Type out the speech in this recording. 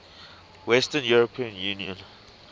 western european union